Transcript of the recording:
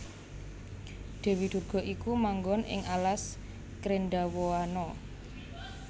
Dèwi Durga iku manggon ing alas Krendhawahana